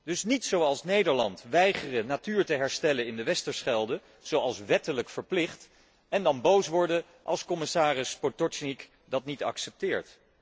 Dus niet zoals Nederland weigeren de natuur te herstellen in de Westerschelde, zoals wettelijk verplicht, en dan boos worden als commissaris Potočnik dat niet accepteert.